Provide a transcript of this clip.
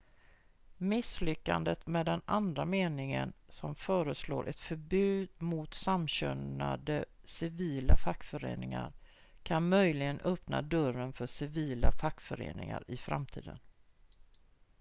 misslyckandet med den andra meningen som föreslår ett förbud mot samkönade civila fackföreningar kan möjligen öppna dörren för civila fackföreningar i framtiden